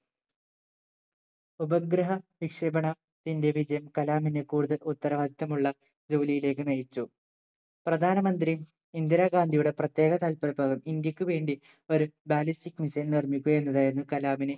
ഉപഗ്രഹ വിക്ഷേപണ ത്തിന്റെ വിജയം കലാമിന് കൂടുതൽ ഉത്തരവാദിത്തമുള്ള ജോലിയിലേക്ക് നയിച്ചു പ്രധാനമന്ത്രി ഇന്ദിരാഗാന്ധിയുടെ പ്രത്യേക താല്പര്യപ്രകാരം ഇന്ത്യക്ക് വേണ്ടി ഒരു ballistic missile നിർമിക്കുക എന്നതായിരുന്നു കലാമിന്